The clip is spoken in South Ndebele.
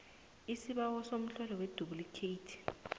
gisibawo somtlolo weduplikheyithi